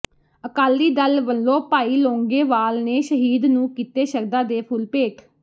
ਅਕਾਲੀ ਦਲ ਵੱਲੋਂ ਭਾਈ ਲੌਂਗੋਵਾਲ ਨੇ ਸ਼ਹੀਦ ਨੂੰ ਕੀਤੇ ਸ਼ਰਧਾ ਦੇ ਫੁੱਲ ਭੇਟ